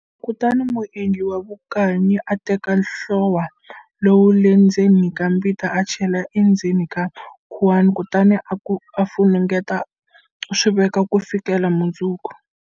Kutani muendli wa vukanyi a teka nhlowa luwa le ndzeni ka mbita a chela endzeni ka khuwana kutani u funengeta u swi veka ku fikela mundzuku.